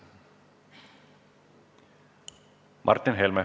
Martin Helme.